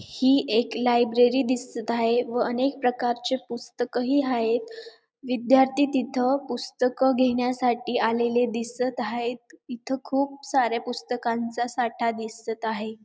ही एक लायब्ररी दिसत आहे व अनेक प्रकारचे पुस्तकही हायेत विद्यार्थी तिथं पुस्तक घेण्यासाठी आलेले दिसत हायेत इथं खूप सारे पुस्तकांचा साठा दिसत आहे.